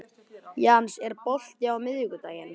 Jens, er bolti á miðvikudaginn?